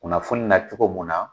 Kunnafoni na cogo mun na